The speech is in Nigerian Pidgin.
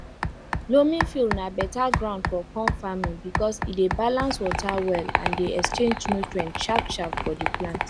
loamy field na better ground for corn farming because e dey balance water well and dey exchange nutrient sharpsharp for the plant